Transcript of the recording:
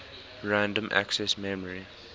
random access memory